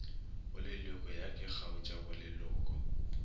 boleloko ya ke kgaotša boleloko